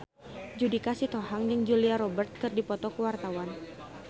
Judika Sitohang jeung Julia Robert keur dipoto ku wartawan